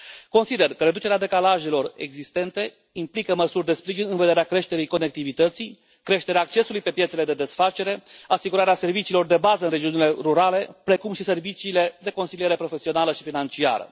Consider că reducerea decalajelor existente implică măsuri de sprijin în vederea creșterii conectivității, creșterii accesului pe piețele de desfacere, asigurării serviciilor de bază în regiunile rurale, precum și a serviciilor de consiliere profesională și financiară.